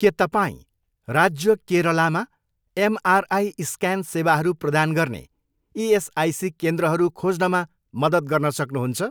के तपाईँँ राज्य केरलामा एमआरआई स्क्यान सेवाहरू प्रदान गर्ने इएसआइसी केन्द्रहरू खोज्नमा मद्दत गर्न सक्नुहुन्छ?